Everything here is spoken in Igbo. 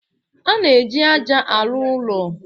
A na-eji ájá arụ ụlọ.